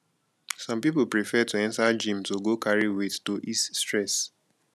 some pipo prefer to enter gym to go carry weight to ease stress